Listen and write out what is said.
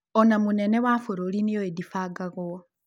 ona Mũnene wa Bũrũri nĩoĩ dibangagwo.